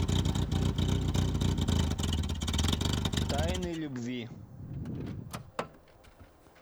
тайны любви